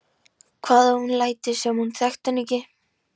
Hvað ef hún léti sem hún þekkti hann ekki?